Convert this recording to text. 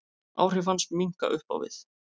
Áhrif hans minnka upp á við.